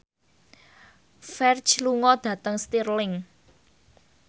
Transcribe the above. Ferdge lunga dhateng Stirling